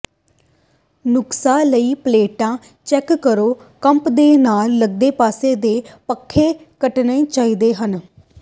ਨੁਕਸਾਂ ਲਈ ਪਲੇਟਾਂ ਚੈੱਕ ਕਰੋ ਕੰਧ ਦੇ ਨਾਲ ਲਗਦੇ ਪਾਸੇ ਦੇ ਖੰਭੇ ਕੱਟਣੇ ਚਾਹੀਦੇ ਹਨ